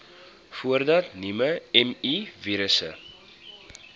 voordat nuwe mivirusse